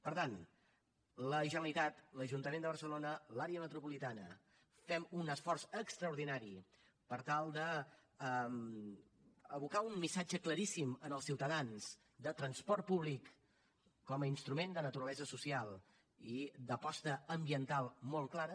per tant la generalitat l’ajuntament de barcelona i l’àrea metropolitana fem un esforç extraordinari per tal d’abocar un missatge claríssim als ciutadans de transport públic com a instrument de naturalesa social i d’aposta ambiental molt clara